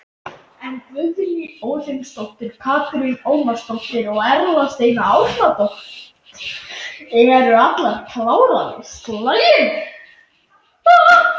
En Guðný Óðinsdóttir, Katrín Ómarsdóttir og Erla Steina Árnadóttir eru allar klárar í slaginn.